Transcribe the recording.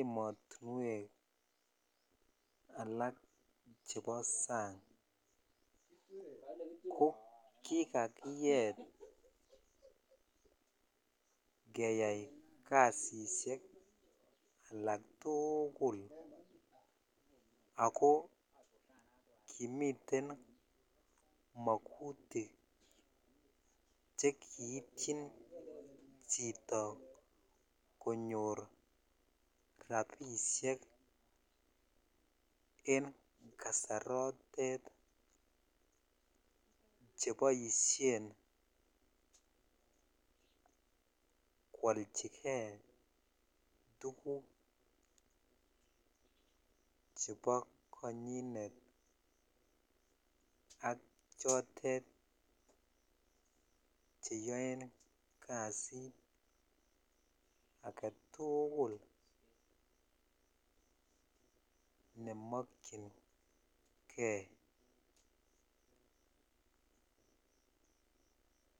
emotinwek alak chebo sang ko kikakiyet keyai kasisiek alak tuugul ako kimiten mokutik chekiipchin chito konyor rapisiek en kasarotet cheboisien kwolchikee tuguk chebo konyinet ak chotet cheyoen kasit agetuugul nemokyingee.